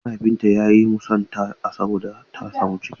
Mahaifinta ya yi musunta ta saboda ta samu ciki.